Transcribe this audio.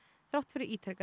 þrátt fyrir ítrekaðar